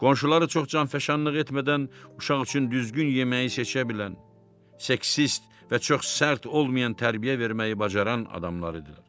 Qonşuları çox canfəşanlıq etmədən uşaq üçün düzgün yeməyi seçə bilən, seksist və çox sərt olmayan tərbiyə verməyi bacaran adamlar idilər.